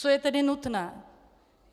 Co je tedy nutné?